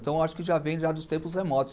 Então, eu acho que já vem dos tempos remotos.